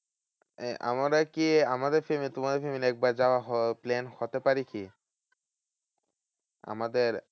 আমরা কি আমাদের family তোমাদের family একবার যাওয়া plan হতে পারে কি? আমাদের